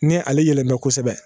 Ni ale yɛlɛmɛ kosɛbɛ